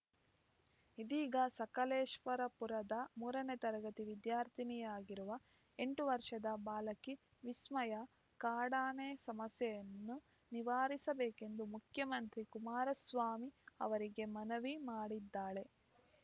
ಇದೀಗ ಸಕಲೇಶವರ ಪುರದ ಮೂರನೇ ತರಗತಿ ವಿದ್ಯಾರ್ಥಿನಿಯಾಗಿರುವ ಎಂಟು ವರ್ಷದ ಬಾಲಕಿ ವಿಸ್ಮಯ ಕಾಡಾನೆ ಸಮಸ್ಯೆಯನ್ನು ನಿವಾರಿಸಬೇಕೆಂದು ಮುಖ್ಯಮಂತ್ರಿ ಕುಮಾರಸ್ವಾಮಿ ಅವರಿಗೆ ಮನವಿ ಮಾಡಿದ್ದಾಳೆ